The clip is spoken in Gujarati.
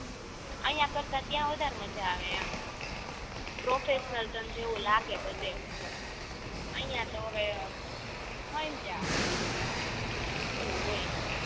અહિયાં કરતાં ત્યાં વધારે મજા આવે એમ પ્રોફાસનલ તમ જેવુ લાગે બધે અહિયાં તો હવે સમજ્યા હવે એવું હોય